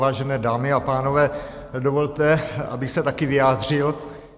Vážené dámy a pánové, dovolte, abych se taky vyjádřil.